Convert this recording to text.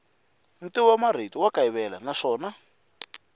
ntivomarito wa kayivela naswona